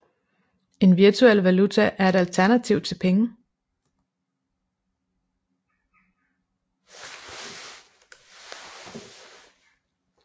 En virtuel valuta er et alternativ til penge